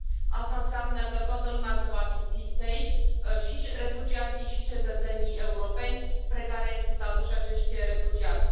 Asta înseamnă că toată lumea se va simți safe și refugiații, și cetățenii europeni spre care sunt aduși acești refugiați.